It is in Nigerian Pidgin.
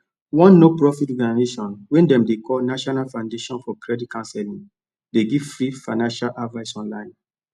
one no profit organization wey dem dey call national foundation for credit counseling dey give free financial advice online